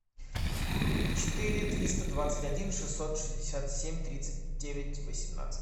четыре триста двадцать один шестьсот шестьдесят семь тридцать девять восемнадцать